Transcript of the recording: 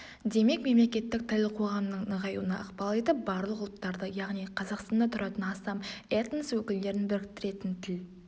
демек мемлекеттік тіл қоғамның нығаюына ықпал етіп барлық ұлттарды яғни қазақстанда тұратын астам этнос өкілдерін біріктіретін тіл